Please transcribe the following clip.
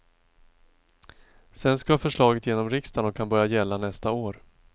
Sen ska förslaget genom riksdagen och kan börja gälla nästa år.